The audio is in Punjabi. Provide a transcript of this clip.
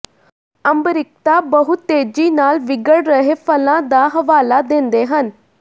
ਅੰਬਰਿਕਤਾ ਬਹੁਤ ਤੇਜ਼ੀ ਨਾਲ ਵਿਗੜ ਰਹੇ ਫਲਾਂ ਦਾ ਹਵਾਲਾ ਦਿੰਦੇ ਹਨ